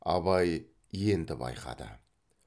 абай енді байқады